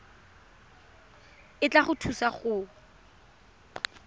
e tla go thusa go